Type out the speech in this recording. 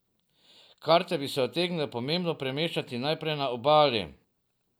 Karte bi se utegnile pomembno premešati najprej na Obali.